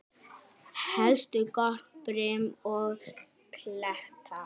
Helst gott brim og kletta.